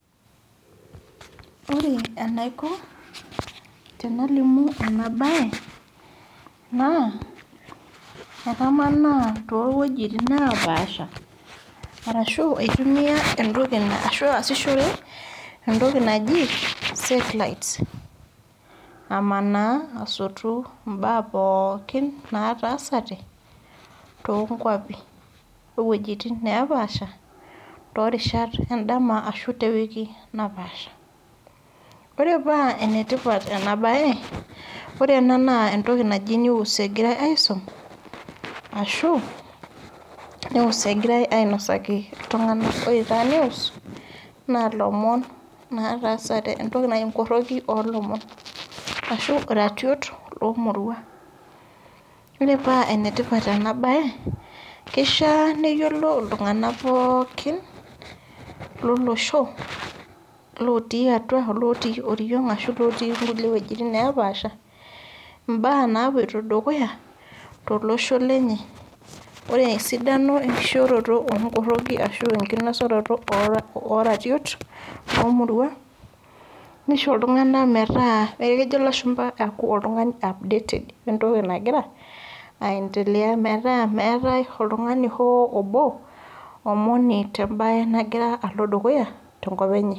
Wore enaiko tenalimu ena baye naa, ekamanaa toowuejitin naapaasha, arashu aasishore entoki naji satellites. Amanaa asotu imbaa pookin naatasate, toonkuapi owuejitin napaasha, toorishat endama arashu tewiki napaasha. Wore paa enetipat ena baye, wore ena naa entoki naji news ekirae aisum, ashu news ekirae ainosaki iltunganak. Wore taa news, naa ilomon otaasate, enkoroki oolomon Ashu irrariot oo muruan. Wore paa enetipat ena baye, kishaa neyiolou iltunganak pookin lolosho, lootii atua olootii oriong, ashu ilooti inkulie wuejitin naapaasha, imbaa naapotio dukuya tolosho lenye. Wore esidano enkishooroto oonkoroki arashu enkinosunoto ooratiot oomuruan, nisho iltunganak metaa neeku kejo ilashumba oltungani updated entoki nakira aendelea metaa meetae oltungani hoo obo, omoni tembaye nakira alo dukuya tenkop enye.